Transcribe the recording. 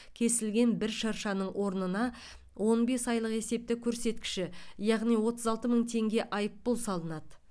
кесілген бір шыршаның орнына он бес айлық есептік көрсеткіші яғни отыз алты мың теңге айыппұл салынады